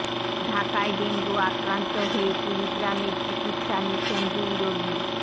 ঢাকায় ডেঙ্গু আক্রান্ত হয়ে কুড়িগ্রামে চিকিৎসা নিচ্ছেন দুই রোগী